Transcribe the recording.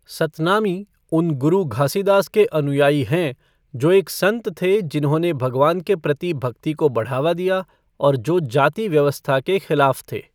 सतनामी, उन गुरु घासीदास के अनुयायी हैं, जो एक संत थे जिन्होंने भगवान के प्रति भक्ति को बढ़ावा दिया और जो जाति व्यवस्था के खिलाफ़ थे।